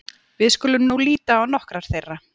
Við skulum nú líta á nokkrar þeirra.